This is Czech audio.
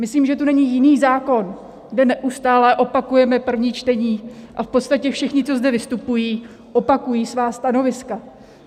Myslím, že tu není jiný zákon, kde neustále opakujeme první čtení a v podstatě všichni, co zde vystupují, opakují svá stanoviska.